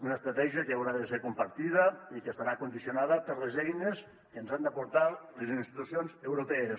una estratègia que haurà de ser compartida i que estarà condicionada per les eines que ens han d’aportar les institucions europees